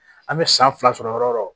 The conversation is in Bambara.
An bɛ san fila sɔrɔ yɔrɔ o yɔrɔ